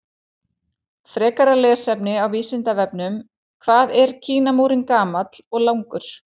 Frekara lesefni á Vísindavefnum: Hvað er Kínamúrinn gamall og langur?